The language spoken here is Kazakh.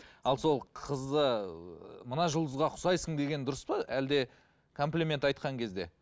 ал сол қызды мына жұлдызға ұқсайсың деген дұрыс па әлде комплимент айтқан кезде